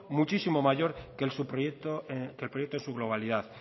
muchísimo mayor que el proyecto en su globalidad